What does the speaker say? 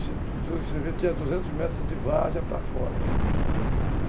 tinha duzentos metros de várzea para fora.